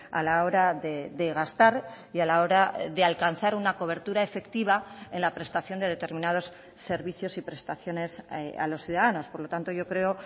a la hora de gastar y a la hora de alcanzar una cobertura efectiva en la prestación de determinados servicios y prestaciones a los ciudadanos por lo tanto yo creo